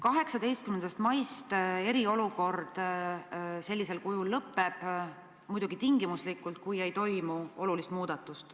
18. mail eriolukord sellisel kujul lõpeb, muidugi tingimuslikult, kui ei toimu olulist muudatust.